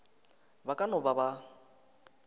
ba ka no ba ba